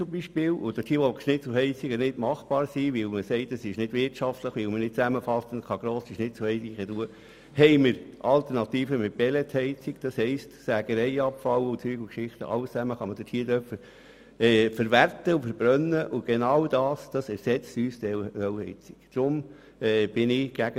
Zum Beispiel gibt es Schnitzelheizungen, und dort, wo Schnitzelheizungen nicht wirtschaftlich sind, weil man nicht zusammenhängende, grosse Anlagen einbauen kann, gibt es die Alternative der Pelletsheizung.